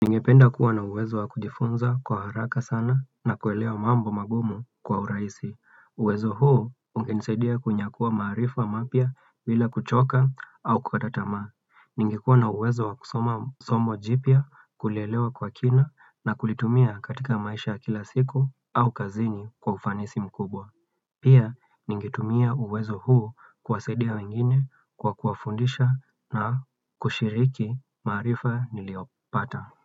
Ningependa kuwa na uwezo wa kujifunza kwa haraka sana na kuelewa mambo magumu kwa uraisi. Uwezo huo ukinisadia kunyakuwa maarifa mapya bila kuchoka au kukata tamaa. Ningekuwa na uwezo wa kusoma somo jipya kulelewa kwa kina na kulitumia katika maisha kila siku au kazini kwa ufanisi mkubwa. Pia ningitumia uwezo huu kuwasadia wengine kwa kuwafundisha na kushiriki maarifa niliyopata.